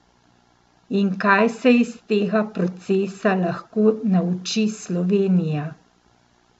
In kaj se iz tega procesa lahko nauči Slovenija?